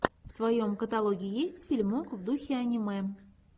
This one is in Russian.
в твоем каталоге есть фильмок в духе аниме